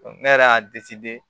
Ne yɛrɛ y'a